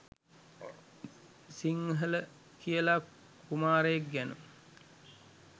සිංහල කියලා කුමාරයෙක් ගැන.